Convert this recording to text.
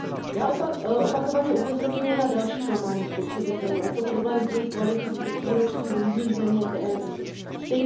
Já opakovaně upozorňuji na další klamání spotřebitelů, a to na problém dvojí kvality výrobků v různých zemích Evropské unie.